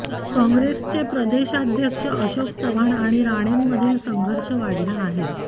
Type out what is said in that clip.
काँग्रेसचे प्रदेशाध्यक्ष अशोक चव्हाण आणि राणेंमधील संघर्ष वाढला आहे